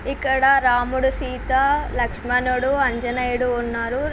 ఇక్కడ రాముడు సీత లక్షనుడు ఆంజనేయుడు ఉన్నారు.